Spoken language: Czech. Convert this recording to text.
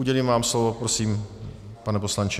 Udělím vám slovo, prosím, pane poslanče.